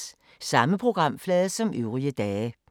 Samme programflade som øvrige dage